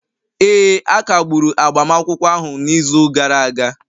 Ee, a kagburu agbamakwụkwọ ahụ n'izu gara aga